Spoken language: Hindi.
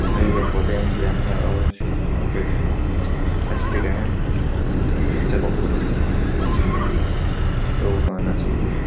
हरे-हरे पौधे हैं हिरण है और यहाँ पे अच्छी जगह है नेचर को फोटो खींचने के लिए लोगो को आना चाहिए।